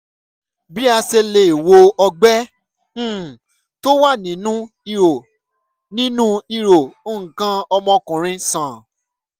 bí a ṣe lè wo ọgbẹ́ um tó wà nínú ihò nínú ihò nǹkan ọmọkùnrin sàn?